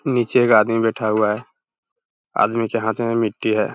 नीचे एक आदमी बैठा हुआ है । आदमी के हाथ में मिट्टी है ।